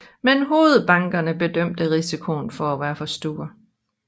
Men hovedbankerne bedømte risikoen til at være for stor